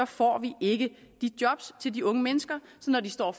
får vi ikke de job til de unge mennesker så når de står og